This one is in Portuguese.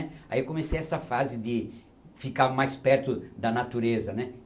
Aí eu comecei essa fase de ficar mais perto da natureza, né?